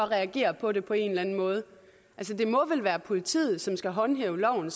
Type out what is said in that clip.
reagere på det på en eller anden måde det må vel være politiet som skal håndhæve loven